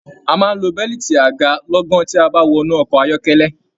A máa n lọ bẹ̀liiti aga lọ̀gan ti a ba wọnú ọkọ ayọkẹlẹ.